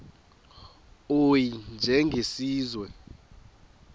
u y njengesiwezi